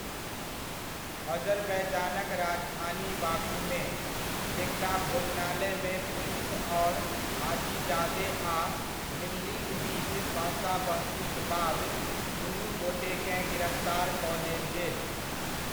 अजरबैजानक राजधानी बाकूमे, एकटा भोजनालयमे पुलिस आओर हाजीजादे आ मिल्लीक बीच बहसा बहसीक बाद दुनु गोटेकेँ गिरफ्तार कऽ लेल गेल।